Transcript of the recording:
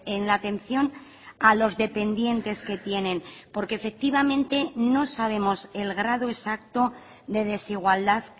en la atención a los dependientes que tienen porque efectivamente no sabemos el grado exacto de desigualdad